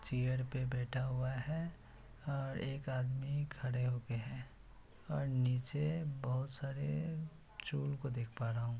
Chair पे बैठा हुआ हैं और एक आदमी खड़े हुए हैं और नीचे बहुत सारे चूहो को देख पा रहा हूँ।